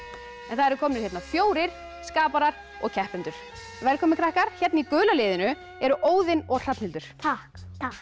það eru komnir hérna fjórir skaparar og keppendur velkomnir krakkar hérna í gula liðinu eru Óðinn og Hrafnhildur takk